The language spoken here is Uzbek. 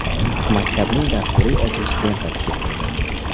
Maktabning dasturiy ochilish lentasi kesildi.